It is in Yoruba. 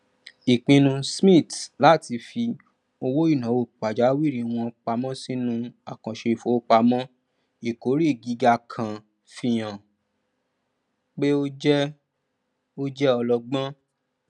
ipinnu smiths láti fi owóìnàwó pàjáwìrì wọn pamọ sínú àkàǹṣe ìfowopamọ ìkórè gíga kan fi hàn pé ó jẹ ó jẹ ọlọgbọn